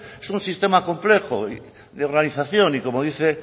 es un sistema complejo de organización y como dice